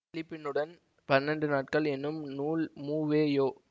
திலீபனுடன் பன்னெண்டு நாட்கள் என்னும் நூல் மு வே யோ